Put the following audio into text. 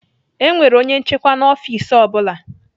E nwere onye nchịkwa na ọfiks ọ bụla.